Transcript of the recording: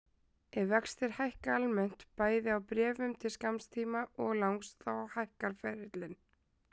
Ef vextir hækka almennt, bæði á bréfum til skamms tíma og langs, þá hækkar ferillinn.